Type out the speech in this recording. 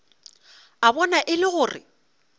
a bona e le gore